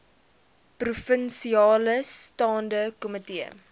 provinsiale staande komitee